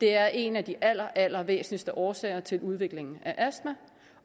er en af de allerallervæsentligste årsager til udvikling af astma